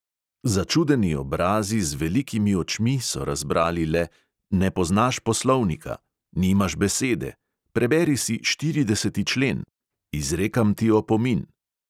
Začudeni obrazi z velikimi očmi so razbrali le "ne poznaš poslovnika", "nimaš besede", "preberi si štirideseti člen", "izrekam ti opomin ..."